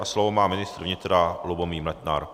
A slovo má ministr vnitra Lubomír Metnar.